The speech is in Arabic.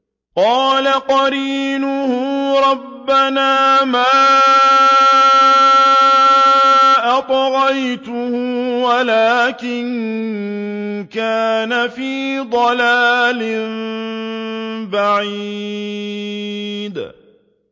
۞ قَالَ قَرِينُهُ رَبَّنَا مَا أَطْغَيْتُهُ وَلَٰكِن كَانَ فِي ضَلَالٍ بَعِيدٍ